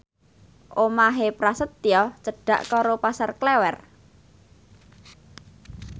omahe Prasetyo cedhak karo Pasar Klewer